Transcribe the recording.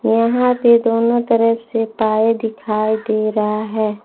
यहां पे दोनों तरफ से पाए दिखाई दे रहा है।